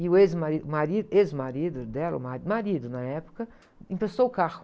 E o ex-marido, o mari, ex-marido dela, o mari, o marido, na época, emprestou o carro.